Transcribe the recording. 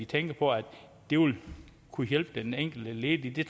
tænker på at det vil kunne hjælpe den enkelte ledige